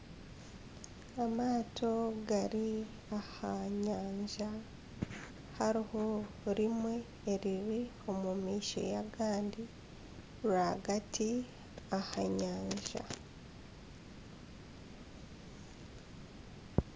Amaato gari aha nyanja hariho rimwe eriri omu maisho y'agandi rwagati aha nyanja.